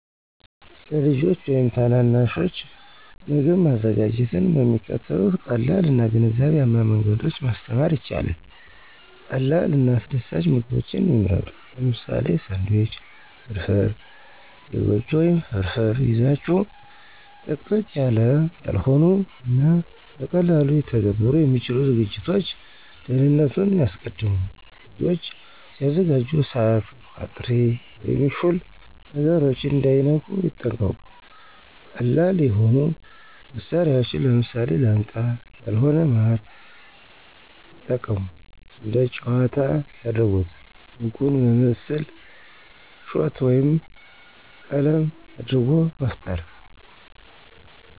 ለልጆች ወይም ታናናሾች ምግብ ማዘጋጀትን በሚከተሉት ቀላል እና ግንዛቤያም መንገዶች ማስተማር ይቻላል። 1. ቀላል እና አስደሳች ምግቦችን ይምረጡ - ለምሳሌ፦ ሳንድዊች፣ ፍራፍራ፣ የጎጆ ወይም ፍርፍር ይዛችሁ። - ጥቅጥቅ ያላው ያልሆኑ እና በቀላሉ ሊተገበሩ የሚችሉ ዝግጅቶች። **2. ደህንነቱን ያስቀድሙ** - ልጆች ሲያዘጋጁ እሳት፣ ቋጥሪ ወይም ሹል ነገሮችን እንዳይነኩ ይጠንቀቁ። - ቀላል የሆኑ መሳሪያዎችን (ለምሳሌ፦ ላንቃ ያልሆነ ማር) የጠቀሙ። *3. እንደ ጨዋታ ያድርጉት** - ምግቡን በምስል፣ ሾት ወይም ቀለም አድርጎ መፍጠሩ